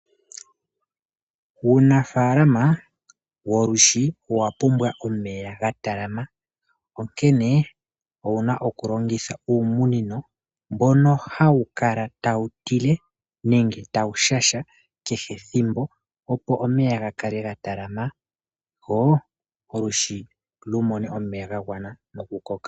Uunafaalama wolwishi owa pumbwa omeya ga talama, onkene owuna okulongitha uumunino mbono hawu kala tawu tile, nenge tawu shasha kehe ethimbo, opo omeya ga kale ga talama, lwo olwiishi lumone omeya ga gwana noku koka.